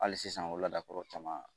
Hali sisan o ladakɔrɔ caman